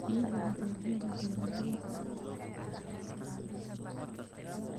Bixiyaha adeegyada beeralayda ayaa ah tusaale wanaagsan.